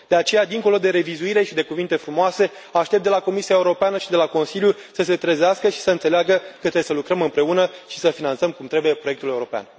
De aceea, dincolo de revizuire și de cuvinte frumoase, aștept de la Comisia Europeană și de la Consiliu să se trezească și să înțeleagă că trebuie să lucrăm împreună și să finanțăm cum trebuie proiectul european.